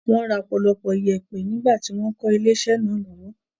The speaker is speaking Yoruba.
Wọ́n ra ọ̀pọ̀lọpọ̀ yèèpẹ̀ nígbà tí wọ́n ń kọ́ ilé-isẹ́ náà lọ́wọ́.